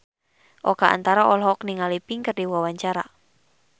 Oka Antara olohok ningali Pink keur diwawancara